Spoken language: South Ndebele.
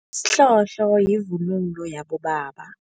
Isihlohlo yivunulo yabobaba.